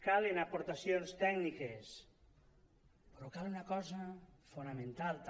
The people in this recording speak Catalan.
calen aportacions tècniques però cal una cosa fonamental també